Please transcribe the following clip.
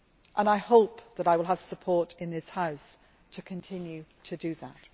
And I hope that I will have support in this House to continue to do that.